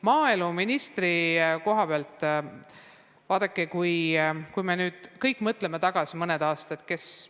Maaeluministril oli väga osavale ajakirjanikule vastates väike vääratus.